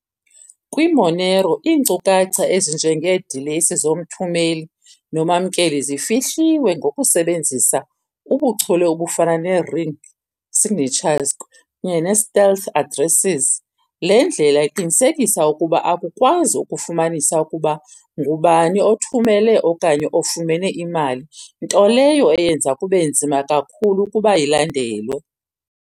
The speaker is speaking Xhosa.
KwiMonero, iinkcukacha ezinjengeedilesi zomthumeli nomamkeli zifihliwe ngokusebenzisa ubuchule obufana ne-Ring Signatures kunye ne-Stealth Addresses. Le ndlela iqinisekisa ukuba akukwazi ukufumanisa ukuba ngubani othumele okanye ofumene imali, nto leyo eyenza kube nzima kakhulu ukuba ilandelwe.